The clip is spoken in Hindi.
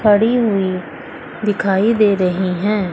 खड़ी हुई दिखाई दे रही हैं।